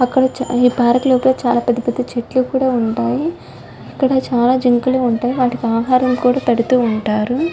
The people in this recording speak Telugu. అక్కడ ఈ పార్క్ లోపల చాలా పెద్ద పెద్ద చెట్లు కూడా ఉంటాయి. అక్కడ చాలా జింకలు ఉంటాయి. వాటికి ఆహారం కూడా పెడుతూ ఉంటారు.